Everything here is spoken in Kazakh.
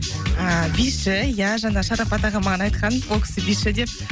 ы биші иә жаңа шарапат аға маған айтқан ол кісі биші деп